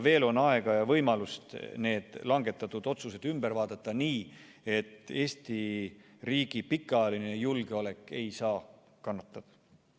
Veel on aega ja võimalust need langetatud otsused ümber vaadata nii, et Eesti riigi pikaajaline julgeolek ei saa kannatada.